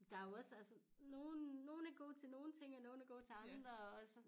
Der jo også altså nogen nogen er gode til nogen ting og nogen er gode til andre og så